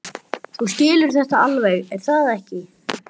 Þú skilur þetta alveg, er það ekki?